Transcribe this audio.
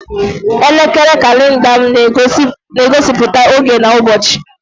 Elekere kalenda m na-egosiputa oge na ụbọchị.